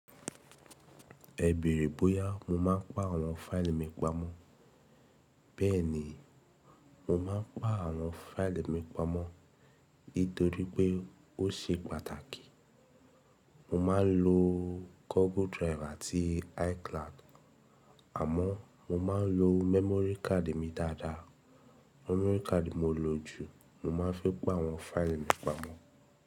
Ẹ béèrè bóyá mo má ń pá àwọn fáìlì mi pamọ́. Bẹ́ẹ̀ ni, mo máa ń pa àwọn fáìlì mi pamọ́ nítorí pé ó ṣe pàtàkì. Mo máa ń lo Google Drive àti iCloud, àmọ́ mo máa ń lo memory card mi dáadáa. Memory card mo lò ju, mo máa ń fi pa àwọn fáìlì mi pamọ́.